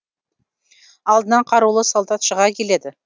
алдынан қарулы солдат шыға келеді